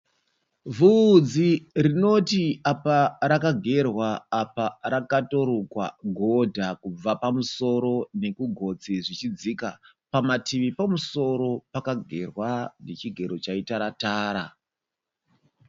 Vhudzi rinoti apa rakagerwa apa rakatorukwa godha kubva pamusoro nekugotsi zvichidzika pamativi pomusoro pakagerwa nechigero chaitaratara.